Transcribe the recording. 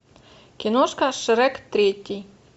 киношка шрек третий